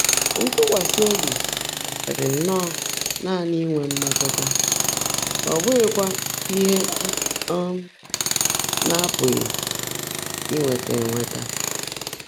Ntụ́kwasị́ óbí kárị́rị́ nnọ́ọ́ nàní ínwé mmétụ́tá, ọ́ bụ́ghị́kwá íhe á um ná-ápụ́ghị́ ínwétá énweètaá.